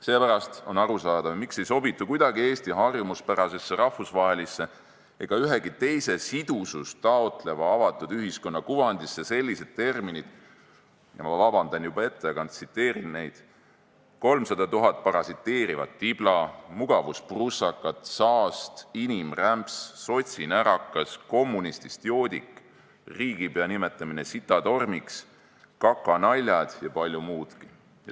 Seepärast on aru saada, miks Eesti harjumuspärasesse rahvusvahelisse ega ühegi teise sidusust taotleva avatud ühiskonna kuvandisse ei sobitu kuidagi sellised terminid – ma palun juba ette vabandust, ma tsiteerin – nagu "kolmsada tuhat parasiteerivat tiblat", "mugavusprussakad", "saast", "inimrämps", "sotsinärakas", "kommunistist joodik", riigipea nimetamine sitatormiks, kakanaljad ja palju muudki.